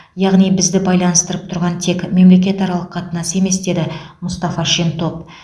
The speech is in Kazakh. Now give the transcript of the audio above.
яғни бізді байланыстырып тұрған тек мемлекетаралық қатынас емес деді мұстафа шентоп